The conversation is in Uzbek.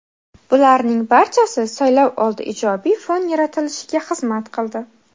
Bularning barchasi saylovoldi ijobiy fon yaratilishiga xizmat qildi.